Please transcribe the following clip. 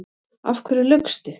Af hverju laugstu?